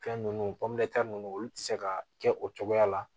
Fɛn ninnu ninnu olu tɛ se ka kɛ o cogoya la